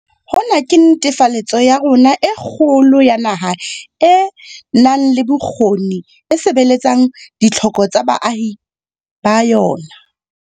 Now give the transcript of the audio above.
Hona ke netefaletso ya rona e kgolo ya naha e nang le bokgoni e sebeletsang ditlhoko tsa baahi ba yona.